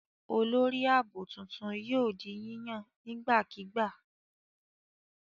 Olórí ààbò tuntun yóò di yíyàn nígbàkigbà.